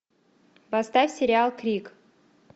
поставь сериал крик